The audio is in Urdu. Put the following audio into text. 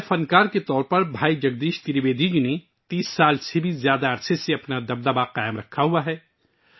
ایک مزاحیہ فنکار کے طور پر بھائی جگدیش ترویدی جی نے 30 سال سے زیادہ عرصے تک اپنا اثر و رسوخ برقرار رکھا